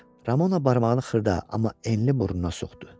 Ramona barmağını xırda, amma enli burnuna soxdu.